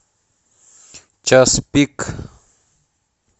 час пик